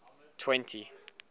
twenty